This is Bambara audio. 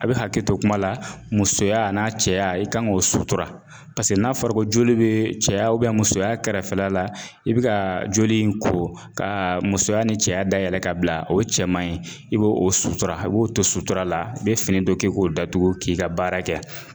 A bɛ hakɛ to kuma la musoya n'a cɛya i kan k'o sutura n'a fɔra ko joli bɛ cɛya musoya kɛrɛfɛ la i bɛ ka joli in ko ka musoya ni cɛya dayɛlɛ ka bila o cɛman in i b'o o sutura a b'o to sutura la i bɛ fini dɔ k'i k'o datugu k'i ka baara kɛ